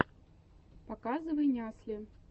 показывай нясли